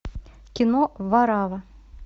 кино варавва